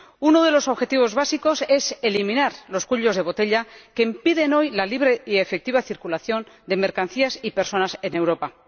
Uno de los objetivos básicos es eliminar los cuellos de botella que impiden hoy la libre y efectiva circulación de mercancías y personas en Europa.